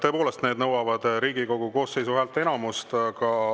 Tõepoolest, need nõuavad Riigikogu koosseisu häälteenamust.